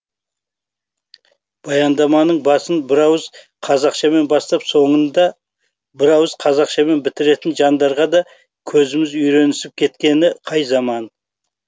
баяндаманың басын бірауыз қазақшамен бастап соңында бірауыз қазақшамен бітіретін жандарға да көзіміз үйренісіп кеткені қай заман